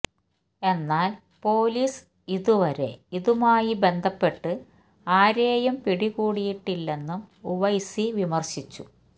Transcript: എന്നാല് പൊലീസ് ഇതുവരെ ഇതുമായി ബന്ധപ്പെട്ട് ആരേയും പിടികൂടിയിട്ടില്ലെന്നും ഉവൈസി വിമര്ശിച്ചു